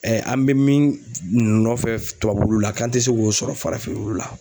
an bɛ min nɔfɛ tubabu wulu la k'an tɛ se k'o sɔrɔ farafin wulu la.